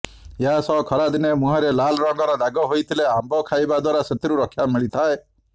ଏହାସହ ଖରାଦିନେ ମୁହଁରେ ଲାଲ ରଙ୍ଗର ଦାଗ ହୋଇଥିଲେ ଆମ୍ବ ଖାଇବା ଦ୍ୱାରା ସେଥିରୁ ରକ୍ଷା ମିଳିଥାଏ